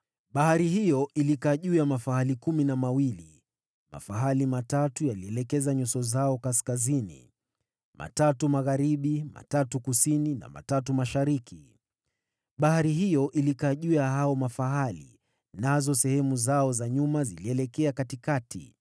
Bahari hiyo ilikaa juu ya mafahali kumi na wawili, mafahali watatu walielekeza nyuso zao kaskazini, watatu magharibi, watatu kusini na watatu mashariki. Bahari hiyo ilikaa juu ya hao mafahali, nazo sehemu zao za nyuma zilielekeana.